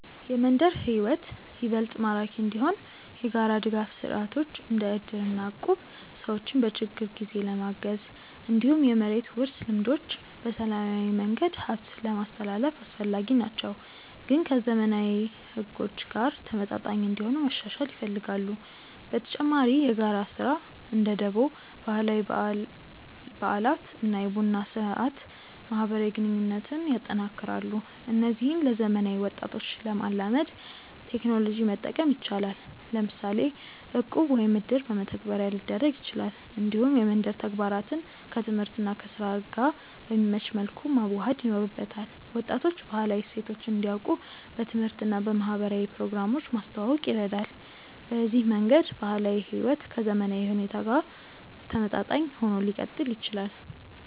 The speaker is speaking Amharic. የመንደር ሕይወት ይበልጥ ማራኪ እንዲሆን የጋራ ድጋፍ ስርዓቶች እንደ እድር እና እቁብ ሰዎችን በችግር ጊዜ ለማገዝ፣ እንዲሁም የመሬት ውርስ ልምዶች በሰላማዊ መንገድ ሀብትን ለማስትላልፍ አስፈላጊ ናቸው፣ ግን ከዘመናዊ ሕጎች ጋር ተመጣጣኝ እንዲሆኑ መሻሻል ይፈልጋሉ። በተጨማሪ የጋራ ስራ (እንደ ደቦ)፣ ባህላዊ በዓላት እና የቡና ስርአት ማህበራዊ ግንኙነትን ያጠናክራሉ። እነዚህን ለዘመናዊ ወጣቶች ለማላመድ ቴክኖሎጂ መጠቀም ይቻላል፤ ለምሳሌ እቁብ ወይም እድር በመተግበሪያ ሊደረግ ይችላል። እንዲሁም የመንደር ተግባራትን ከትምህርት እና ከስራ ጋር በሚመች መልኩ መዋሃድ ይኖርበታል። ወጣቶች ባህላዊ እሴቶችን እንዲያውቁ በትምህርት እና በማህበራዊ ፕሮግራሞች ማስተዋወቅ ይረዳል። በዚህ መንገድ ባህላዊ ሕይወት ከዘመናዊ ሁኔታ ጋር ተመጣጣኝ ሆኖ ሊቀጥል ይችላል።